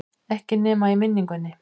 Ekki nema í minningunni.